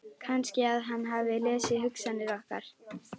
Kannski að hann hafi lesið hugsanir okkar.